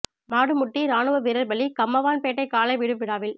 மாடு முட்டி ராணுவ வீரர் பலி கம்மவான்பேட்டை காளை விடும் விழாவில்